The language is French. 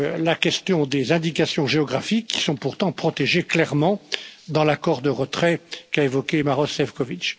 la question des indications géographiques, qui sont pourtant protégées clairement dans l'accord de retrait qu'a évoqué Maroš Sĕfčovič.